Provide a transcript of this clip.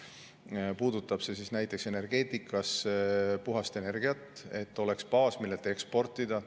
See puudutab näiteks energeetikas puhast energiat, et oleks baas, millelt eksportida.